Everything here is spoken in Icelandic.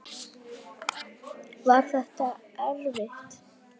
Var þetta erfitt?